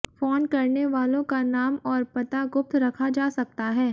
phone करने वालों का नाम और पता गुप्त रखा जा सकता है